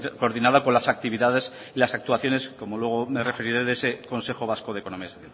coordinado con las actividades y las actuaciones como luego me referire de ese consejo vasco de economía social